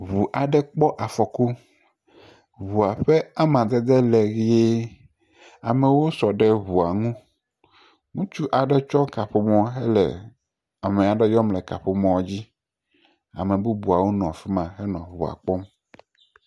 Ŋu aɖe kpɔ afɔku. Ŋu ƒe amadede le ʋie. Amewo sɔ ɖe ŋua ŋu. Ŋutsu aɖe tsɔ kaƒomɔ hele ame aɖe yɔm le kaƒomɔa dzi. Ame bubuawo nɔ afi ma henɔ ŋua kpɔm.